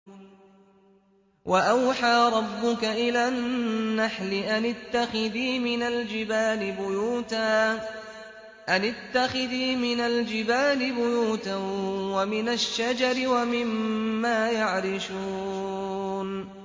وَأَوْحَىٰ رَبُّكَ إِلَى النَّحْلِ أَنِ اتَّخِذِي مِنَ الْجِبَالِ بُيُوتًا وَمِنَ الشَّجَرِ وَمِمَّا يَعْرِشُونَ